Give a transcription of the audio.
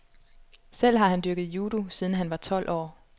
Selv har han dyrket judo, siden han var tolv år.